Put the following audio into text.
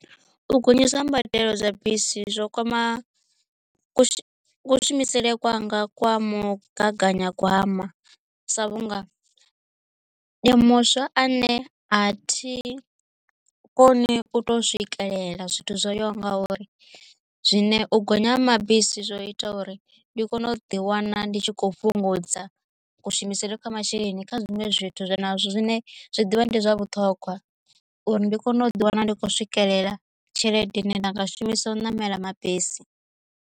U gonyiswa ha mbadelo dza bisi zwo kwama ku shumisele kwanga kwa mugaganyagwama sa vhunga ndi muswa ane a thi koni u to swikelela zwithu zwoyaho nga uri zwine u gonya ha mabisi zwo ita uri ndi kone u ḓi wana ndi tshi kho fhungudza kushumisele kwa masheleni kha zwiṅwe zwithu zwa na zwine zwi ḓivha ndi zwa vhuṱhogwa uri ndi kone u ḓiwana ndi khou swikelela tshelede ine nda nga shumisa u ṋamela mabisi.